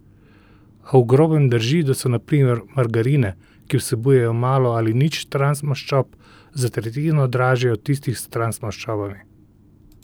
A v grobem drži, da so na primer margarine, ki vsebujejo malo ali nič transmaščob, za tretjino dražje od tistih s transmaščobami.